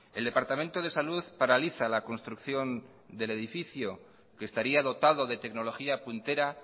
el departamento de salud paraliza la construcción del edificio que estaría dotado de tecnología puntera